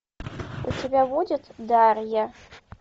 у тебя будет дарья